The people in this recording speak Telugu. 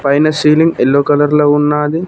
పైన సీలింగ్ ఎల్లో కలర్ లో ఉన్నాది.